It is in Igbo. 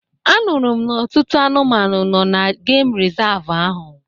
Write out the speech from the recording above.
A nụrụ m n'ọtụtụ anụmanụ nọ n'geem resavu ahu